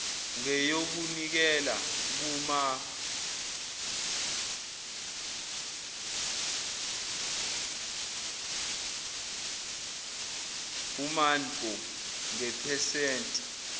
ngeyokunikela kumanpo ngephesenti